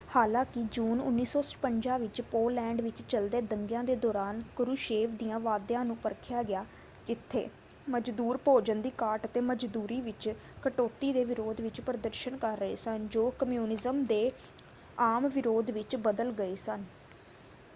ਹਾਲਾਂਕਿ ਜੂਨ 1956 ਵਿੱਚ ਪੋਲੈਂਡ ਵਿੱਚ ਚੱਲਦੇ ਦੰਗਿਆਂ ਦੇ ਦੌਰਾਨ ਕਰੂਸ਼ੇਵ ਦਿਆਂ ਵਾਅਦਿਆਂ ਨੂੰ ਪਰਖਿਆ ਗਿਆ ਜਿੱਥੇ ਮਜ਼ਦੂਰ ਭੋਜਨ ਦੀ ਘਾਟ ਅਤੇ ਮਜ਼ਦੂਰੀ ਵਿੱਚ ਕਟੌਤੀ ਦੇ ਵਿਰੋਧ ਵਿੱਚ ਪ੍ਰਦਰਸ਼ਨ ਕਰ ਰਹੇ ਸਨ ਜੋ ਕਮਿਊਨਿਜ਼ਮ ਦੇ ਆਮ ਵਿਰੋਧ ਵਿੱਚ ਬਦਲ ਗਏ ਸਨ।